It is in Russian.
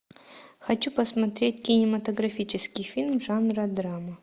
хочу посмотреть кинематографический фильм жанра драма